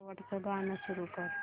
शेवटचं गाणं सुरू कर